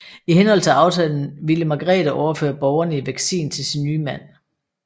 I henhold til aftalen ville Margrete overføre borgene i Vexin til sin nye mand